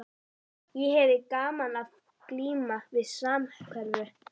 Ég hefi gaman af að glíma við samhverfu.